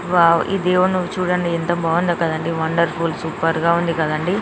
wow ఈ దేవుని నువ్వు చూడండి ఎంత బాగుందో కదండీ వండర్ఫుల్ సూపర్ గా ఉంది కదండీ